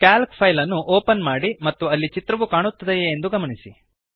Calc file ಅನ್ನು open ಮಾಡಿ ಮತ್ತು ಅಲ್ಲಿ ಚಿತ್ರವು ಕಾಣುತ್ತದೆಯೇ ಎಂದು ಗಮನಿಸಿ